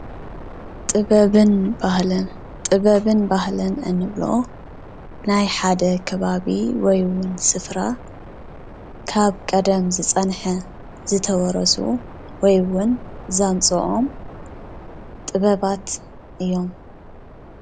ጥበብን ባህልን፦ ጥበብን ባህልን እንብሎ ናይ ሓደ ከባቢ ወይ ውን ስፍራ ካብ ቐደም ዝፀንሐ ዝተወረሱ ወይውን ዘምጽኦም ጥበባት እዮም፡፡